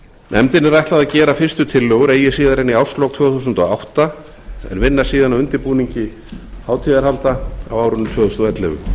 nefndinni er ætlað að gera fyrstu tillögur eigi síðar en í árslok tvö þúsund og átta en vinna síðan að undirbúningi hátíðarhalda á árinu tvö þúsund og ellefu